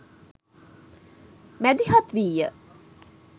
මැදිහත් වීය.